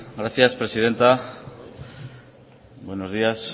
gracias presidenta bueno días